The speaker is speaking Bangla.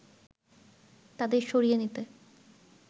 তাদের সরিয়ে নিতে